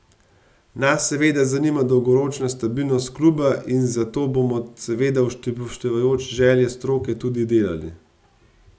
Nas seveda zanima dolgoročna stabilnost kluba in za to bomo, seveda upoštevajoč želje stroke, tudi delali.